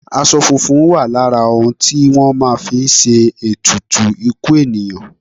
Aṣọ funfun wà lára òun tí wọ́n máa ń fi ṣe ètùtù ikú ènìyàn.